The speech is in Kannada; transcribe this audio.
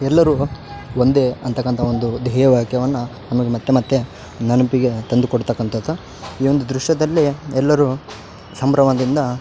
ಎಲ್ಲರು ಒಂದೆ ಅಂತಕಂತ ಒಂದು ದ್ಯೇಯ ವಾಕ್ಯವನ್ನ ನಮಗ್ ಮತ್ತೆ ಮತ್ತೆ ನೆನಪಿಗೆ ತಂದುಕೊಡ್ತಕ್ಕಂತದು. ಈ ಒಂದು ದ್ರಶ್ಯದಲ್ಲೆ ಎಲ್ಲರು ಸಂಭ್ರಮದಿಂದ --